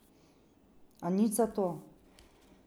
A nič zato.